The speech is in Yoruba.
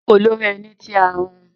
joko lori eni ti a hun